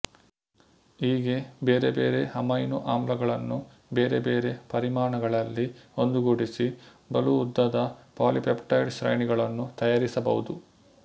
ಹೀಗೆ ಬೇರೆ ಬೇರೆ ಅಮೈನೋ ಆಮ್ಲಗಳನ್ನು ಬೇರೆ ಬೇರೆ ಪರಿಮಾಣಗಳಲ್ಲಿ ಒಂದುಗೂಡಿಸಿ ಬಲು ಉದ್ದದ ಪಾಲಿಪೆಪ್ಟೈಡ್ ಶ್ರೇಣಿಗಳನ್ನು ತಯಾರಿಸಬಹುದು